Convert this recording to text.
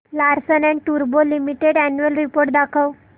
Larsen and टुर्बो limited annual report दाखव